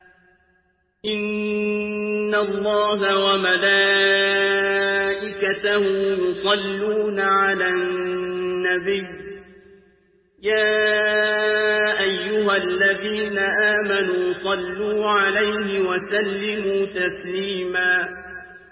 إِنَّ اللَّهَ وَمَلَائِكَتَهُ يُصَلُّونَ عَلَى النَّبِيِّ ۚ يَا أَيُّهَا الَّذِينَ آمَنُوا صَلُّوا عَلَيْهِ وَسَلِّمُوا تَسْلِيمًا